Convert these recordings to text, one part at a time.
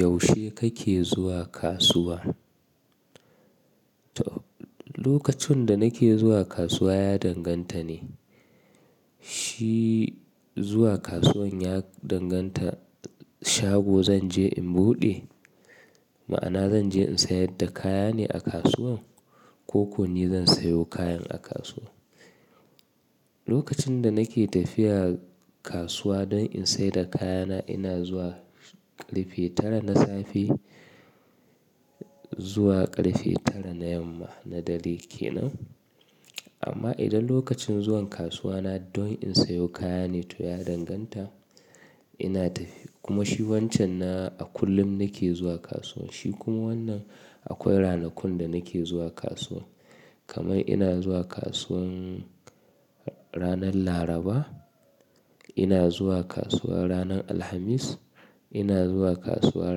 Yaushe kake zuwa kasuwa? Lokacin da nake zuwa kasuwa ya danganta ne. Shi zuwa kasuwan ya danganta shago zan je in buɗe, ma'ana zan je in sayar da kaya ne a kasuwan ko kuwa ni zan sayo kayan a kasuwa. Lokacin da nake tafiya kasuwa don in sayar da kayana ina zuwa ƙarfe tara na safe zuwa ƙarfe tara na yamma na dare kenan. Amma idan lokacin zuwan kasuwana don in sayo kaya ne to ya danganta ina tafi. Kuma shi wancan na a kullum nake zuwa kasuwa. Shi kuma wannan akwai ranakun da nake zuwa kasuwa. Kaman ina zuwa kasuwan ranan Laraba, ina zuwa kasuwa ranan Alhamis, ina zuwa kasuwa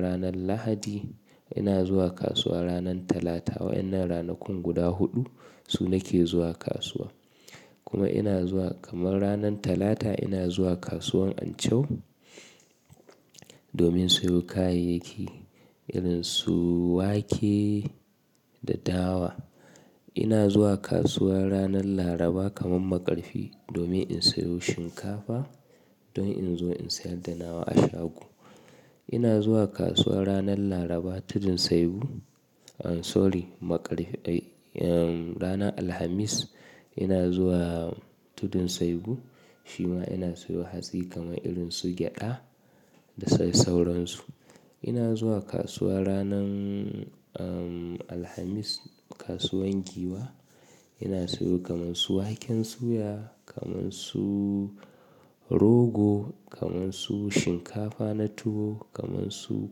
ranan Lahadi, ina zuwa kasuwa ranan Talata. Wayannan ranakun guda huɗu su nake zuwa kasuwa. Kuma ina zuwa kaman ranan Talata ina zuwa kasuwan Anchau domin sayo kayayyaki irin su wake da dawa. Ina zuwa kasuwa ranan Laraba kaman Maƙarfi domin in sayo shinkafa don in zo in sayar da nawa a shago. Ina zuwa kasuwa ranan Laraba Tudun Saihu-- ah sorry Maƙarfi-- eh ranan Alhamis ina zuwa Tudun Saihu shi ma ina sayo hatsi kaman irin su gyaɗa da sauransu. Ina zuwa kasuwa ranan ahh Alhamis kasuwan Giwa ina sayo kaman su waken suya, kaman su rogo, kaman su shinkafa na tuwo, kaman su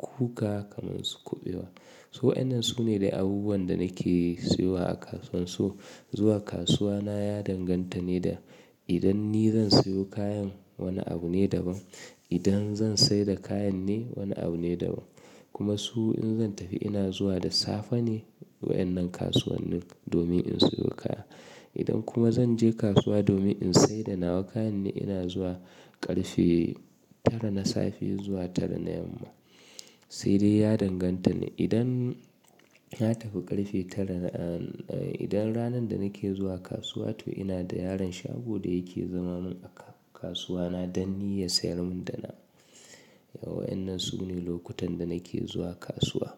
kuka, kaman su kuɓewa. So wayannan sune dai abubuwan da nake sayowa a kasuwansu. Zuwa kasuwana ya danganta ne da idan ni zan sayo kayan wani abu ne daban, idan zan sai da kayan ne wani abu ne daban. Kuma su in zan tafi ina zuwa da safe ne wa'yan nan kasuwannin domin in sayo kaya. Idan kuma zan je kasuwa domin in sayar da nawa kayan ne ina zuwa ƙarfe tara na safe zuwa tara na yamma. Sai dai ya danganta ne idan na tafi ƙarfe tara-- idan ranan da nake zuwa kasuwa to ina da yaron shago da yake zama mun a kasuwana don ni ya sayar mun da na wa. Ysauwa inna sone lokutan da nake zuwa kasuwa.